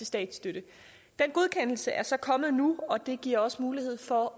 statsstøtten den godkendelse er så kommmet nu og den giver os mulighed for